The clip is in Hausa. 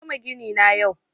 Na gama gini na yau